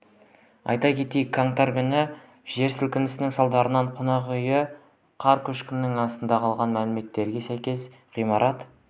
айта кетейік қаңтар күні жер сілкінісінің салдарынан қонақ үйі қар көшкінінің астында қалған мәліметтерге сәйкес ғимарат